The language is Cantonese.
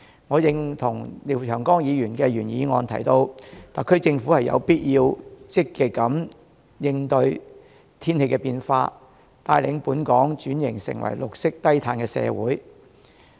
我認同廖長江議員的原議案提到，特區政府有必要積極應對天氣變化，帶領本港轉型成為綠色低碳社會。